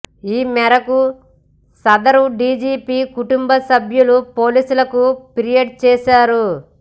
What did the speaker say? ఈ మేరకు సదరు డీజీపీ కుటుంబసభ్యులు పోలీసులకు ఫిర్యాదు చేశారు